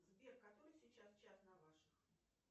сбер который сейчас час на ваших